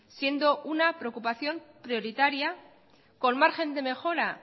siendo una preocupación prioritaria con margen de mejora